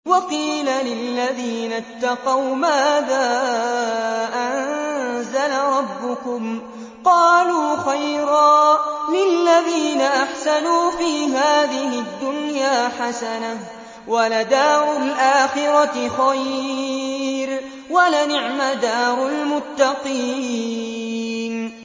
۞ وَقِيلَ لِلَّذِينَ اتَّقَوْا مَاذَا أَنزَلَ رَبُّكُمْ ۚ قَالُوا خَيْرًا ۗ لِّلَّذِينَ أَحْسَنُوا فِي هَٰذِهِ الدُّنْيَا حَسَنَةٌ ۚ وَلَدَارُ الْآخِرَةِ خَيْرٌ ۚ وَلَنِعْمَ دَارُ الْمُتَّقِينَ